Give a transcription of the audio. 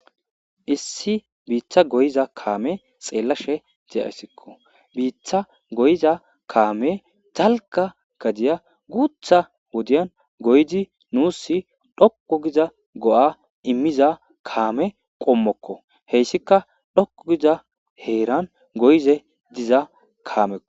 Issi bita goyiza kameza be'asheko bita goyiza kame dalga gaya gutha wodiyana goyidi nusi doqu giza go'a imiza kane qommokko hesikka dhoqu giza heran goyishe dizaysakko